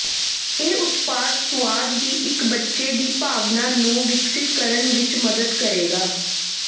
ਇਹ ਉਤਪਾਦ ਸੁਆਦ ਦੀ ਇੱਕ ਬੱਚੇ ਦੀ ਭਾਵਨਾ ਨੂੰ ਵਿਕਸਤ ਕਰਨ ਵਿੱਚ ਮਦਦ ਕਰੇਗਾ